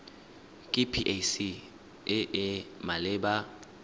ke pac e e maleba